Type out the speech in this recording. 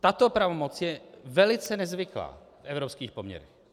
Tato pravomoc je velice nezvyklá v evropských poměrech.